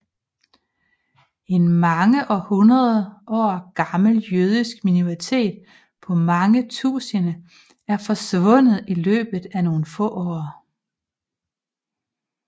En mange hundredår gammel jødisk minoritet på mange tusinde er forsvundet i løbet af nogle få år